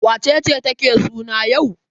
Wace ce take suna yau?